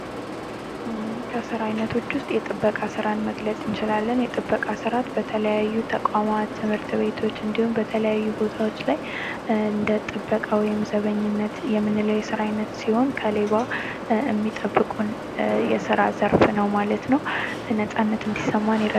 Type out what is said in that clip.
ከስራ አይነቶች ውስጥ የጥበቃ ስራን መግለጽ እንችላለን የጥበቃ ስራ የተለያዩ ተቋማት፥ ትምህርት ቤቶች እንዲሁም በተለያዩ ቦታዎች ላይ እንደ ጥበቃ ወይም ዘበኝነት የምንለው የስራ አይነት ሲሆን ከሌባ የሚጠብቁን የስራ ዘርፍ ነው ማለት ነው ነጻነት እንዲሰማን ያደርጋል።